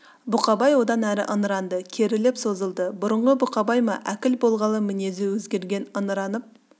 бұқабай одан әрі ыңыранды керіліп созылды бұрынғы бұқабай ма өкіл болғалы мінезі өзгерген ыңыраньп